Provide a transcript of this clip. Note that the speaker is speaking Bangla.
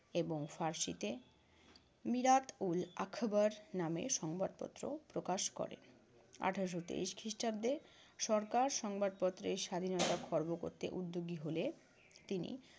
এবং ফারসিতে মিরাত-উল-আখবার নামে সংবাদপত্র প্রকাশ করেন। আঠারশো তেইশ খ্রিষ্টাব্দে সরকার সংবাদপত্রের স্বাধীনতা খর্ব করতে উদ্যোগী হলে তিনি